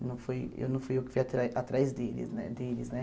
Eu não fui eu não fui eu que fui atrás atrás deles né deles né.